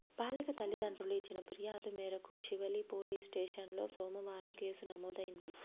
బాలిక తల్లిదండ్రులు ఇచ్చిన ఫిర్యాదు మేరకు శివలీ పోలీస్ స్టేషన్లో సోమవారం కేసు నమోదైంది